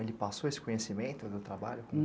Ele passou esse conhecimento do trabalho?